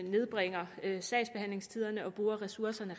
nedbringer sagsbehandlingstiderne og gør at ressourcerne